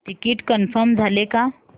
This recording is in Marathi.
तिकीट कन्फर्म झाले का